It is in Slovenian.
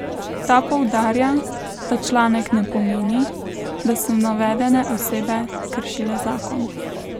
Ta poudarja, da članek ne pomeni, da so navedene osebe kršile zakon.